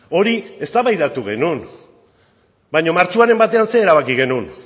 hori eztabaidatu genuen baina martxoaren batean zer erabaki genuen